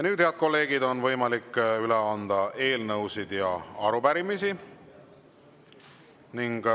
Nüüd, head kolleegid, on võimalik üle anda eelnõusid ja arupärimisi.